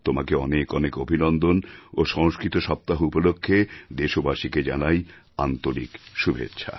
তোমাকে অনেক অনেক অভিনন্দন ও সংস্কৃত সপ্তাহউপলক্ষ্যে দেশবাসীকে জানাই আন্তরিক শুভেচ্ছা